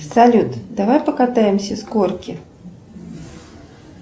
салют давай покатаемся с горки